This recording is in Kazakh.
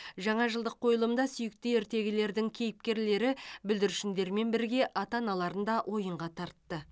жаңа жылдық қойылымда сүйікті ертегілердің кейіпкерлері бүлдіршіндермен бірге ата аналарын да ойынға тартты